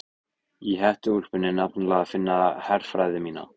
Í hettuúlpunni er nefnilega að finna herfræði mína.